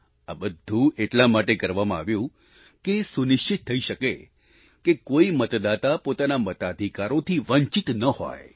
આ બધું એટલા માટે કરવામાં આવ્યું કે એ સુનિશ્ચિત થઈ શકે કે કોઈ મતદાતા પોતાના મતાધિકારોથી વંચિત ન હોય